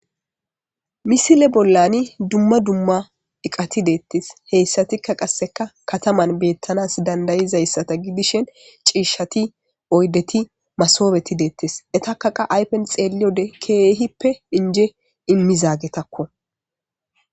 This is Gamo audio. Misile bollani dumma dumma eqati deettes heyssatikka qasseka kataman beettanas dandayizayssata gidishen ciishati oydeti masobeti deettes etaka qa aypen xeeli ode keehippe inje immizaagetakko.